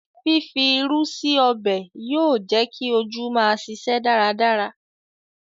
Fífi irú sí ọbẹ̀ yóò jẹ́ kí ojú máa ṣiṣẹ́ dáradára